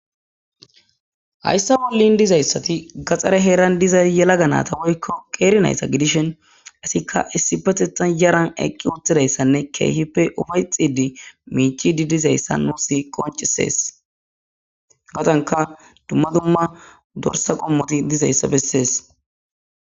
hayssa wollin dizayssati gaxxare heeran diza yela ga naata woykko qeernayssa gidishen asikka issi patetan yaran eqqi uttidayssanne keehippe ufay xidi miichi di dizayssa nuusi qoncisees gawdanka dumma dumma dorsa qommoti dizayssa bessees